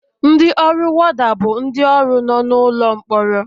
Ndị ọrụ worda bụ ndị ọrụ nọ n'ụlọ mkpọrọ